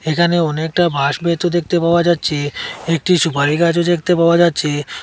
এখানে অনেকটা ভাস বেতও দেখতে পাওয়া যাচ্ছে একটি সুপারি গাছও দেখতে পাওয়া যাচ্ছে।